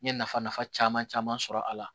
N ye nafa nafa caman caman sɔrɔ a la